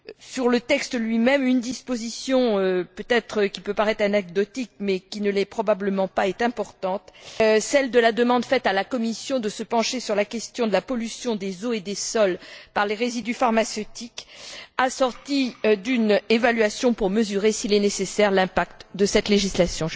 Sur le texte lui même, une disposition qui pourrait peut être paraître anecdotique, mais qui ne l'est probablement pas est importante c'est celle de la demande faite à la Commission de se pencher sur la question de la pollution des eaux et des sols par les résidus pharmaceutiques, assortie d'une évaluation pour mesurer, si nécessaire, l'impact de cette législation.